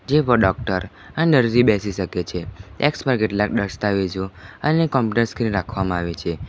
જેવો ડોક્ટર અન દર્દી બેસી સકે છે ડેસ્ક પર કેટલાક દસ્તાવેજો અને કમ્પ્યુટર સ્ક્રીન રાખવામાં આવી છે.